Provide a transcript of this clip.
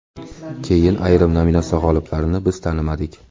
Keyin ayrim nominatsiya g‘oliblarini biz tanimadik.